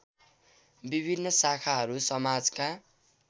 विभिन्न शाखाहरू समाजका